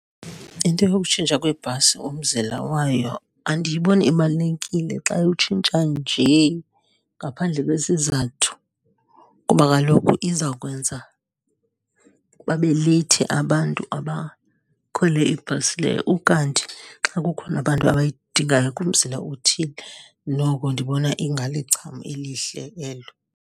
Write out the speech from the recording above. Into yokutshintsha kwebhasi umzila wayo andiyiboni ibalulekile xa iwutshintsha nje ngaphandle kwesizathu, kuba kaloku iza kwenza babe leyithi abantu abakhwele ibhasi leyo. Ukanti xa kukhona abantu abayidingayo kumzila othile noko ndibona ingalicham elihle elo.